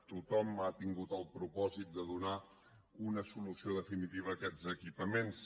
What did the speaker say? tothom ha tingut el propòsit de donar una solució definitiva a aquests equipaments